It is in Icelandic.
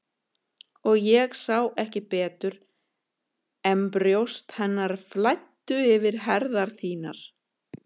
Og ég sá ekki betur en brjóst hennar flæddu yfir herðar þínar.